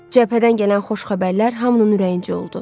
Cəbhədən gələn xoş xəbərlər hamının ürəyincə oldu.